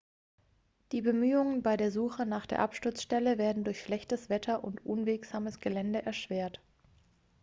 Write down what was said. die bemühungen bei der suche nach der absturzstelle werden durch schlechtes wetter und unwegsames gelände erschwert